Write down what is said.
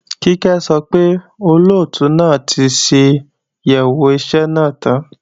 Kíkẹ́ sọ pé, Olóòtú náà ti ṣàyẹ̀wò iṣẹ́ náà tán